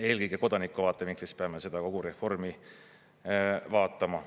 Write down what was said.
Eelkõige kodaniku vaatevinklist peame seda kogu reformi vaatama.